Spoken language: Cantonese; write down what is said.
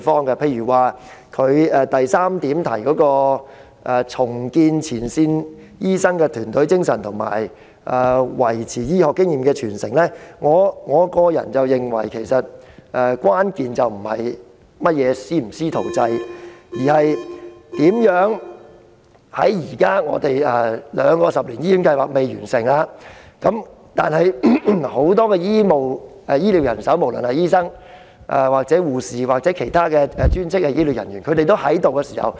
例如，他提出的第三點建議"重建前線醫生的團隊精神及維持醫學經驗的傳承"。我個人認為，關鍵並非在於所謂的"師徒制"，而是在於兩項十年醫院發展計劃現時尚未完成的情況下，如何善用現有眾多的醫療人手，包括在職醫生、護士或其他專職醫療人員。